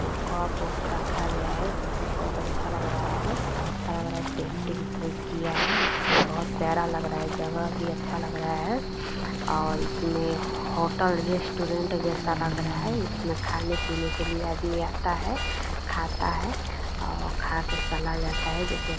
एक कप वप रखा गया जो की बहोत अच्छा लग रहा है ऐसा लग रहा है पेंटिंग कोई किया है बहोत प्यारा लग रहा है जगह भी अच्छा लग रहा है और इसमें होटल रेस्टोरेंट जैसा लग रहा है इसमें खाने-पीने के लिए आदमी आता है खाता है और खाके चला जाता है जो की --